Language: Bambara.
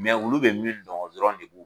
Mɛ olu bɛ min dɔn o dɔrɔnw de don.